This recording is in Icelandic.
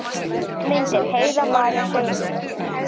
Myndir: Heiða María Sigurðardóttir.